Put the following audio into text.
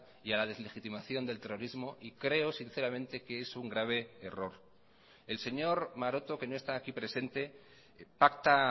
y a la deslegitimación del terrorismo y creo sinceramente que es un grave error el señor maroto que no está aquí presente pacta